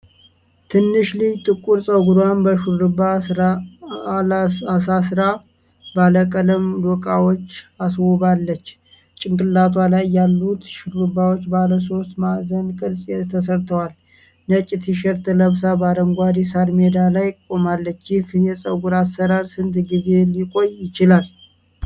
ትንሽ ልጅ ጥቁር ፀጉሯን በሽሩባዎች አሳስራ፣ ባለቀለም ዶቃዎች አስውባለች። ጭንቅላቷ ላይ ያሉት ሽሩባዎች ባለ ሶስት ማዕዘን ቅርፅ ተሰርተዋል። ነጭ ቲሸርት ለብሳ በአረንጓዴ ሳር ሜዳ ላይ ቆማለች። ይህ የፀጉር አሠራር ስንት ጊዜ ሊቆይ ይችላል?